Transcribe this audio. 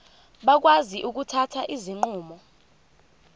bakwazi ukuthatha izinqumo